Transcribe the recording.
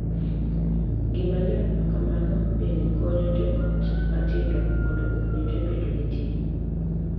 Gima ler ma kamano bende konyo jo ot matindo mondo opuonjre bedo gi ting’ .